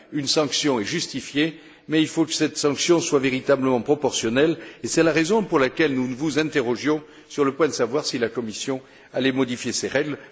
Une sanction est justifiée mais il faut que cette sanction soit véritablement proportionnelle et c'est la raison pour laquelle nous vous interrogions sur le point de savoir si la Commission allait modifier ses règles.